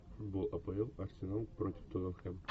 футбол апл арсенал против тоттенхэм